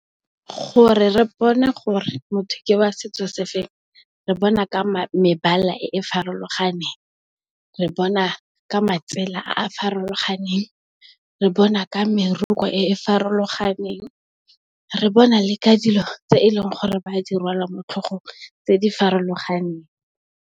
Gore re bone gore motho ke wa setso se feng re bona ka mebala e e farologaneng, re bona ka matsela a a farologaneng, re bona ka meroko e e farologaneng re bona le ka dilo tse e leng gore ba di rwala motlhogong tse di farologaneng.